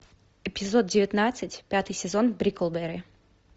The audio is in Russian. эпизод девятнадцать пятый сезон бриклберри